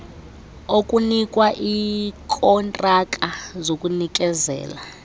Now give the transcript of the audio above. okunikwa iikontraka zokunikezela